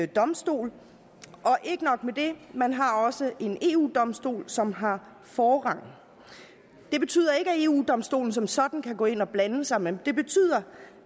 domstol og ikke nok med det man har også en eu domstol som har forrang det betyder ikke at eu domstolen som sådan kan gå ind og blande sig men det betyder